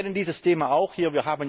Wir kennen dieses Thema auch hier.